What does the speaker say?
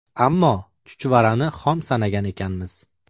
Ammo chuchvarani xom sanagan ekanmiz.